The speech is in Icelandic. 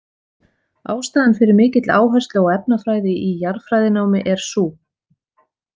Ástæðan fyrir mikilli áherslu á efnafræði í jarðfræðinámi er sú.